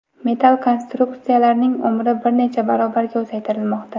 Metall konstruksiyalarning umri bir necha barobarga uzaytirilmoqda.